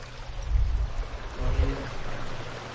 Marie Ekberg